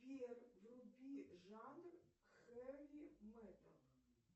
сбер вруби жанр хэви металл